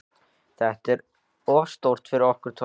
Þetta er of stórt fyrir okkur tvær.